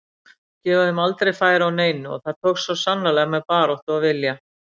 Gefa þeim aldrei færi á neinu og það tókst svo sannarlega með baráttu og vilja.